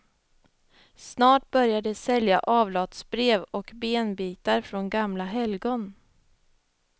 Snart börjar de sälja avlatsbrev och benbitar från gamla helgon.